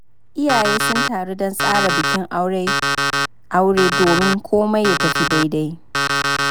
Iyaye sun taru don tsara bikin aure domin komai ya tafi daidai.